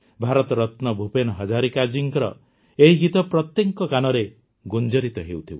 ଭାରତରତ୍ନ ଭୂପେନ ହଜାରିକା ଜୀଙ୍କ ଏହି ଗୀତ ପ୍ରତ୍ୟେକଙ୍କ କାନରେ ଗୁଞ୍ଜରିତ ହେଉଥିବ